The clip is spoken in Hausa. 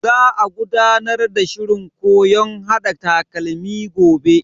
Za a gudanar da shirin koyon hada takalmi gobe.